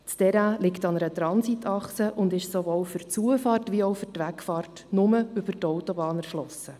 Das Terrain liegt an einer Transitachse und ist sowohl für die Zufahrt als auch für die Wegfahrt nur über die Autobahn erschlossen.